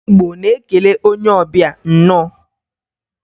Ndị Igbo na-ekele onye ọbịa, "Nnọọ"